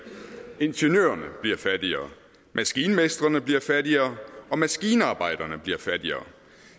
ingeniørerne bliver fattigere maskinmestrene bliver fattigere og maskinarbejdere bliver fattigere